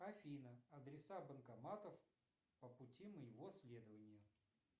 афина адреса банкоматов по пути моего следования